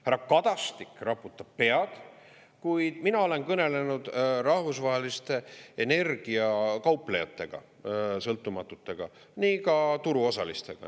Härra Kadastik raputab pead, kuid mina olen kõnelenud rahvusvaheliste energiakauplejatega, sõltumatutega, nii ka turuosalistega.